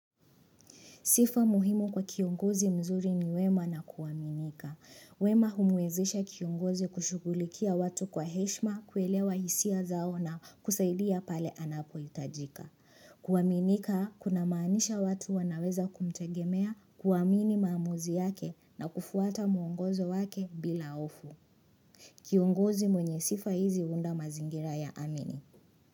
Sifa muhimu kwa kiongozi mzuri ni wema na kuaminika. Wema humwezesha kiongozi kushugulikia watu kwa heshima kuelewa hisia zao na kusaidia pale anapohitajika. Kuaminika kunamaanisha watu wanaweza kumtegemea kuamini maamuzi yake na kufuata muongozo wake bila hoofu. Kiongozi mwenye sifa hizi huunda mazingira yaamini.